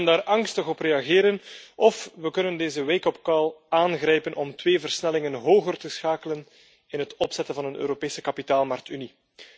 We kunnen daar angstig op reageren, of we kunnen deze wake upcall aangrijpen om twee versnellingen hoger te schakelen in het opzetten van een Europese kapitaalmarktunie.